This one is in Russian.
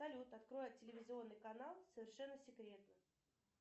салют открой телевизионный канал совершенно секретно